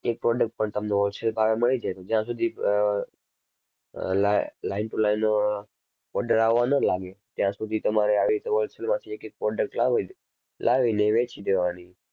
એક product પણ તમને wholesale ભાવે મળી જાય જ્યાં સુધી અમ અમ li~line to line order આવવા ન લાગે ત્યાં સુધી તમારે આવી રીતે wholesale માંથી એક એક product લાવી ને લાવી ને એ વેચી દેવાની.